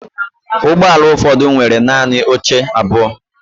Ụgbọ ala ụfọdụ nwere naanị oche abụọ.